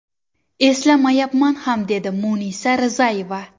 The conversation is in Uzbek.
Eslamayapman ham”, dedi Munisa Rizayeva.